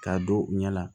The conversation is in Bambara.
K'a don u ɲɛna